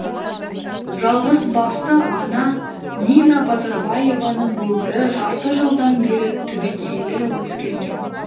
жалғызбасты ана нина базарбаеваның өмірі жарты жылдан бері түбегейлі өзгерген